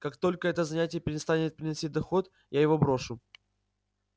как только это занятие перестанет приносить доход я его брошу